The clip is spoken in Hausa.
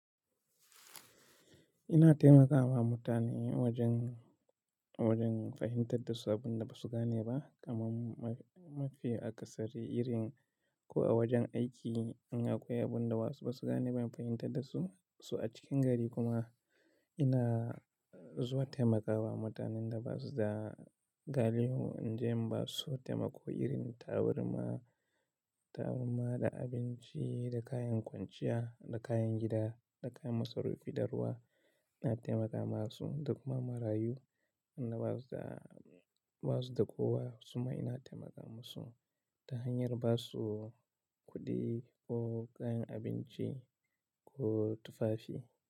Ina taimakawa mutane wajen, wajen fahimtar da su abun da ba su gane ba, kamar mafi akasari irin ko a wajen aiki in akwai abun da wasu ba su gane ba in fahimtar da su. To a cikin gari kuma ina zuwa taimakawa mutanen da ba su da gali hu, inda ba su so taimako irin taburma, taburma da abinci da kayan kwanciya da kayan gida da kayan masarufin ɗaruwa. Ina taimakawa su da kuma marayu, wanda ba su da, ba su da kowa. Suma ina taimaka su ta hanyar ba su kuɗi ko kayan abinci ko tufafi.